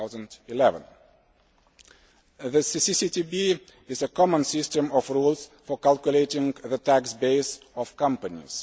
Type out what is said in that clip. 2011. The CCCTB is a common system of rules for calculating the tax base of companies